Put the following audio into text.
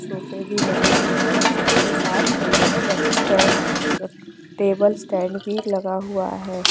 सोफ़े भी लगे हुए है साथ ही साथ स्टैन्ड टेबल स्टैन्ड भी लगा हुआ है ।